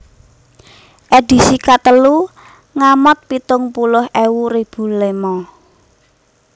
Edisi katelu ngamot pitung puluh ewu ribu lema